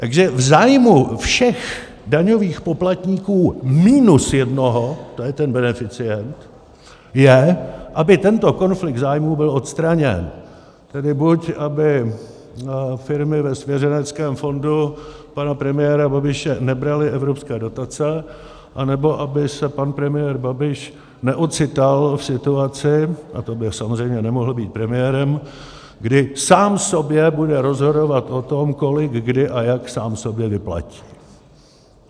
Takže v zájmu všech daňových poplatníků minus jednoho, to je ten beneficient, je, aby tento konflikt zájmů byl odstraněn, tedy buď aby firmy ve svěřeneckém fondu pana premiéra Babiše nebraly evropské dotace, anebo aby se pan premiér Babiš neocital v situaci, a to by samozřejmě nemohl být premiérem, kdy sám sobě bude rozhodovat o tom, kolik, kdy a jak sám sobě vyplatí.